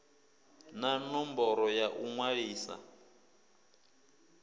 na ṋomboro ya u ṅwalisa